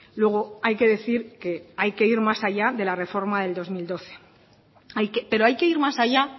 luego hay que decir que hay que ir más allá de la reforma del dos mil doce pero hay que ir más allá